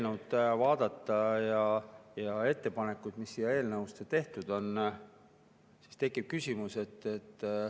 Kui vaadata seda eelnõu ja ettepanekuid, mis selle eelnõu kohta tehtud on, siis tekib küsimus.